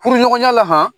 Furuɲɔgɔnya la